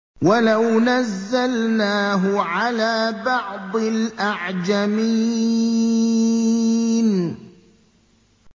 وَلَوْ نَزَّلْنَاهُ عَلَىٰ بَعْضِ الْأَعْجَمِينَ